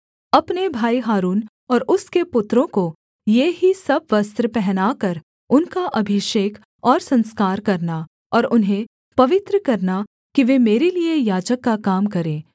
अपने भाई हारून और उसके पुत्रों को ये ही सब वस्त्र पहनाकर उनका अभिषेक और संस्कार करना और उन्हें पवित्र करना कि वे मेरे लिये याजक का काम करें